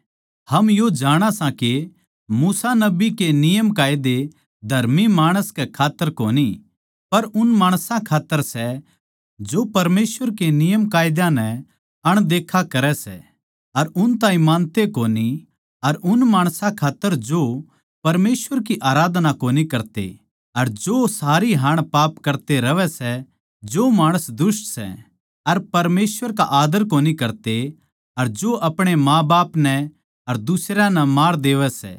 हम यो जाणा सां के मूसा नबी के नियमकायदे धर्मी माणस कै खात्तर कोनी पर उन माणसां खात्तर सै जो परमेसवर के नियमकायदा नै अनदेखा करै सै अर उन ताहीं मानते कोनी अर उन माणसां खात्तर जो परमेसवर की आराधना कोनी करते अर जो सदा पाप करते रहवै सै जो माणस दुष्ट सै अर परमेसवर का आदर कोनी करते अर जो अपणे माँबाप नै अर दुसरयां नै मार देवै सै